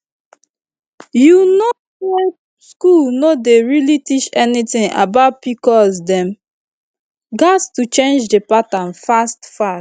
you know say school no dey really teach anything about pcos dem gats change that pattern fast fast